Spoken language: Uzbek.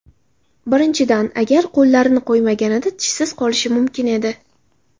Birinchidan, agar qo‘llarini qo‘ymaganida tishsiz qolishi mumkin edi.